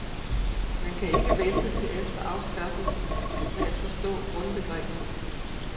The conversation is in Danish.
Man kan ikke vente til efter anskaffelsen med at forstå grundbegreberne.